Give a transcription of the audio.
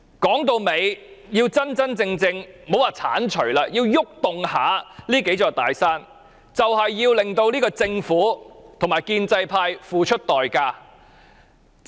說到底，如果我們想移動這數座"大山"，也莫說要剷除了，我們要令政府和建制派付出代價。